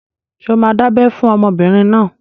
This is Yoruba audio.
Ṣé o máa dábẹ́ fún ọmọbìnrin náà?